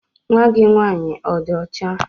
Nwa gị nwaanyị ọ dị ọcha?